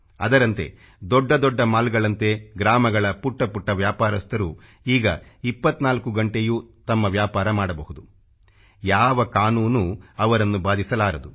ಅದರಂತೆ ದೊಡ್ಡ ದೊಡ್ಡ ಮಾಲ್ಗಳಂತೆ ಗ್ರಾಮಗಳ ಪುಟ್ಟ ಪುಟ್ಟ ವ್ಯಾಪಾರಸ್ಥರು ಈಗ 24 ಗಂಟೆಯು ತಮ್ಮ ವ್ಯಾಪಾರ ಮಾಡಬಹುದು ಯಾವ ಕಾನೂನು ಅವರನ್ನು ಬಾಧಿಸಲಾರದು